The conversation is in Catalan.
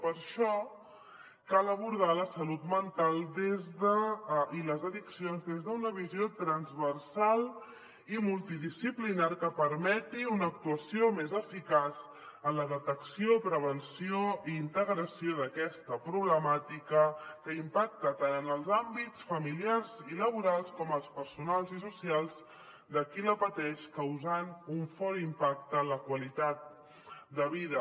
per això cal abordar la salut mental i les addiccions des d’una visió transversal i multidisciplinària que permeti una actuació més eficaç en la detecció prevenció i integració d’aquesta problemàtica que impacta tant en els àmbits familiars i laborals com en els personals i socials de qui la pateix causant un fort impacte en la qualitat de vida